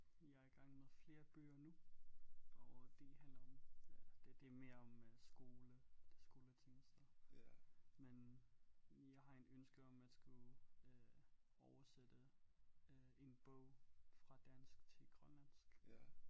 Jeg er i gang med flere bøger nu og de handler om ja det det er mere om skole det skoleting så men jeg har en ønske om at skrive øh oversætte øh en bog fra dansk til grønlandsk